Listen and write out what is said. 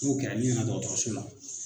N'o kɛra i na dɔgɔrɔso la.